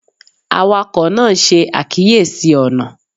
Awakọ naa n ṣe akiyesi ọna